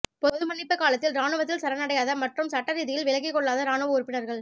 பொது மன்னிப்பு காலத்தில் இராணுவத்தில் சரணடையாத மற்றும் சட்ட ரீதியில் விலகிக்கொள்ளாத இராணுவ உறுப்பினர்கள்